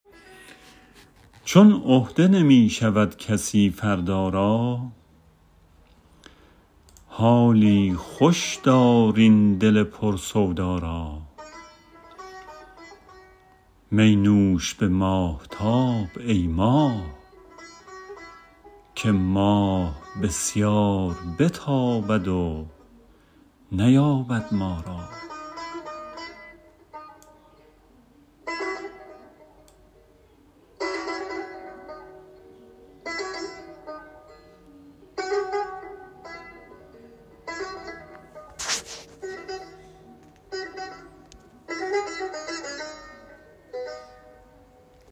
چون عهده نمی شود کسی فردا را حالی خوش دار این دل پر سودا را می نوش به ماهتاب ای ماه که ماه بسیار بتابد و نیابد ما را